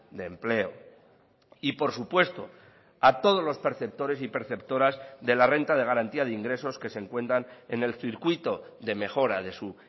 de empleo y por supuesto a todos los perceptores y perceptoras de la renta de garantía de ingresos que se encuentran en el circuito de mejora de su